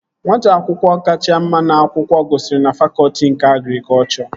Nwata akwụkwọ kacha mma n'akwụkwọ gụsiri na fakọtị nke agrikọchọ